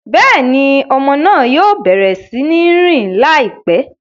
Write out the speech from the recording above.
Béèni, ọmọ náà yóò bẹrẹ si ń rìn laipẹ